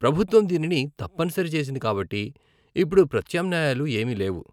ప్రభుత్వం దీనిని తప్పనిసరి చేసింది కాబట్టి ఇప్పుడు ప్రత్యామ్నాయాలు ఏమీ లేవు.